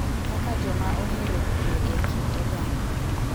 Kaka joma ohero kue e kind oganda.